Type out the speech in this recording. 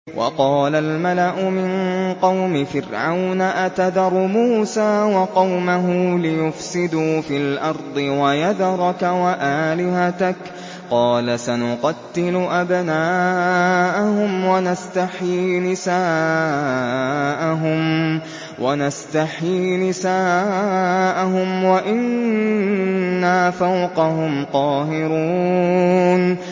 وَقَالَ الْمَلَأُ مِن قَوْمِ فِرْعَوْنَ أَتَذَرُ مُوسَىٰ وَقَوْمَهُ لِيُفْسِدُوا فِي الْأَرْضِ وَيَذَرَكَ وَآلِهَتَكَ ۚ قَالَ سَنُقَتِّلُ أَبْنَاءَهُمْ وَنَسْتَحْيِي نِسَاءَهُمْ وَإِنَّا فَوْقَهُمْ قَاهِرُونَ